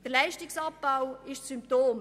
Der Leistungsabbau ist Symptom.